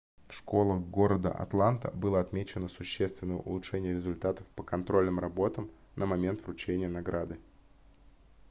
в школах города атланта было отмечено существенное улучшение результатов по контрольным работам на момент вручения награды